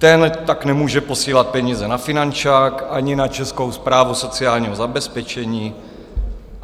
Ten tak nemůže posílat peníze na finančák ani na Českou správu sociálního zabezpečení.